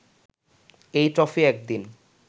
এ trophy একদিন